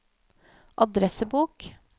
adressebok